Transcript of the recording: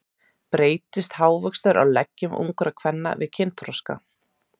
Breytist hárvöxtur á leggjum ungra kvenna við kynþroska?